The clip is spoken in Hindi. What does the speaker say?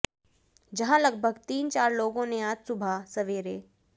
जहां लगभग तीन चार लोगों ने आज सुबह सवेरे